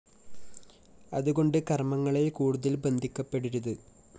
അതുകൊണ്ട് കര്‍മ്മങ്ങളില്‍ കൂടുതല്‍ ബന്ധിക്കപ്പെടരുത്